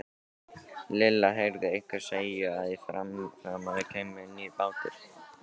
Lilla heyrði einhvern segja að í fyrramálið kæmi nýr bátur.